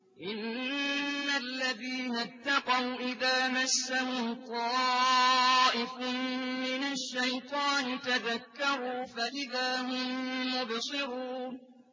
إِنَّ الَّذِينَ اتَّقَوْا إِذَا مَسَّهُمْ طَائِفٌ مِّنَ الشَّيْطَانِ تَذَكَّرُوا فَإِذَا هُم مُّبْصِرُونَ